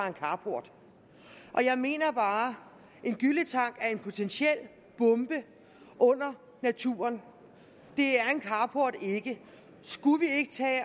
en carport og jeg mener bare at en gylletank er en potentiel bombe under naturen det er en carport ikke skulle vi ikke tage